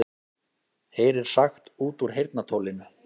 Heyrir sagt út úr heyrnartólinu